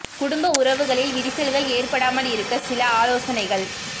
குடும்ப உறவுகளில் விரிசல்கள் ஏற்படாமல் இருக்க சில ஆலோசனைகள்